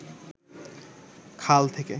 খাল থেকে